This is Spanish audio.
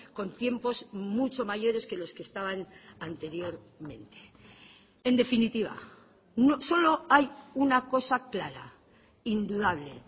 con tiempos mucho mayores que los que estaban anteriormente en definitiva solo hay una cosa clara indudable